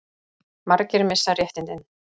Margir missa réttindin